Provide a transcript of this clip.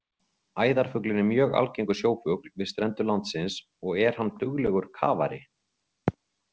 Æðarfuglinn er mjög algengur sjófugl við strendur landsins og er hann duglegur kafari.